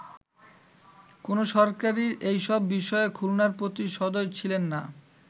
কোন সরকারই এসব বিষয়ে খুলনার প্রতি সদয় ছিলেননা”।